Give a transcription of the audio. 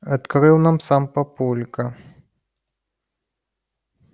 открыл нам сам папулька